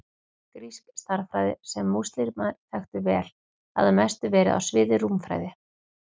Grísk stærðfræði, sem múslímar þekktu vel til, hafði að mestu verið á sviði rúmfræði.